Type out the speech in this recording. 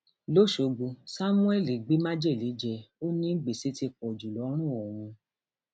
lọṣọgbó samuel gbé májèlé jẹ ó ní gbèsè ti pọ jù lọrùn òun